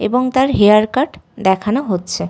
এবং তার hair cut দেখানো হচ্ছে।